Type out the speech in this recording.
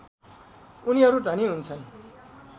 उनीहरू धनी हुन्छन्